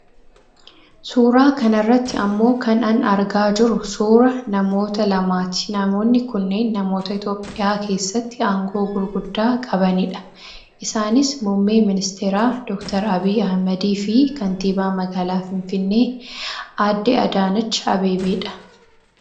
Suuraa kanarratti ammoo kan an argaa jiru suura namoota lamaati namoonni kunneen namoota itoopiyaa keessatti aangoo gurguddaa qabanidha isaanis muummee ministeeraa Dr Abiyyi Ahmediifi kaantibaa magaalaa finfinnee aadde Adaanach Abeebeedha.